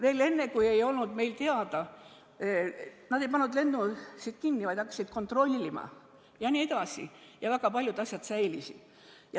Lennukid käisid, nad ei pannud lennuühendust kinni, vaid hakkasid kontrollima jne, ja väga paljud asjad säilisid.